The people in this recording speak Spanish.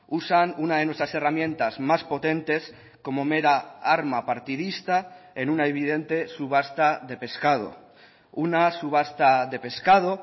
usan una de nuestras herramientas más potentes como mera arma partidista en una evidente subasta de pescado una subasta de pescado